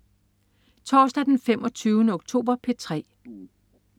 Torsdag den 25. oktober - P3: